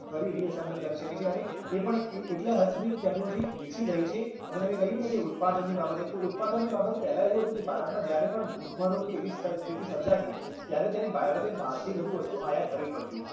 ફરી re-assemble કરી શકે છે અને એ પણ એ એટલા હદ સુધી technology વિકસી ગઈ છે અને તમે કહ્યું ને કે ઉત્પાદનની બાબતે તો ઉત્પાદનની બાબતે પહેલા એવું હતું કે ભારતમાં જયારે પણ ભૂખમરો કે એવી સ્થ સ્થિતિ સર્જાતી ત્યારે તેને ભારતે બહારથી બધી બધું વસ્તુ આયાત કરવી પડતી